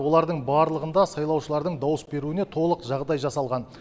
олардың барлығында сайлаушылардың дауыс беруіне толық жағдай жасалған